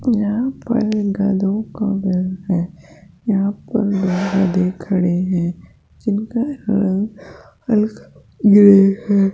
यहां पर गधों का घर है यहां पर दो गधे खड़े हैं जिनका रंग हल्का ग्रे है।